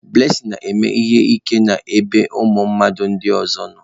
Blessing na-eme ihe ike n'ebe ụmụ mmadụ ndị ọzọ nọ